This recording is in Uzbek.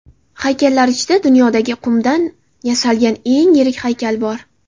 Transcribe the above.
Haykallar ichida dunyodagi qumdan yasalgan eng yirik haykal bor.